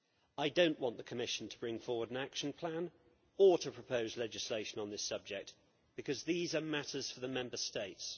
I do not want the Commission to bring forward an action plan or to propose legislation on this subject, because these are matters for the Member States.